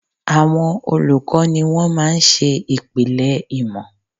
Àwọn olùkọ́ ni wón máa ń ṣe ìpìlẹ̀ ìmọ̀